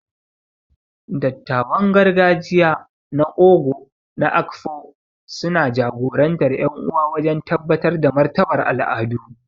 Dattawan gargajiya na Ogo na Afikpo suna jagorantar ƴan uwa wajen tabbatar da martabar al’adu.